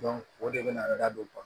o de bɛ na da don